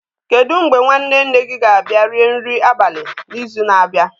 Kedu mgbe nwanne nne gị ga-abịa rie nri abalị n'izu na-abịa?